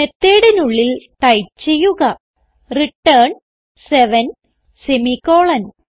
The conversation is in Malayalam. Methodനുള്ളിൽ ടൈപ്പ് ചെയ്യുക റിട്ടർൻ സെവൻ സെമിക്കോളൻ